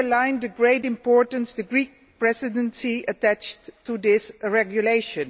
This underlined the great importance the Greek Presidency attaches to this regulation.